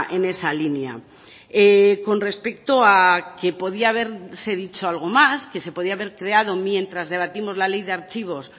en esa línea con respecto a que podía haberse dicho algo más que se podía haber creado mientras debatimos la ley de archivos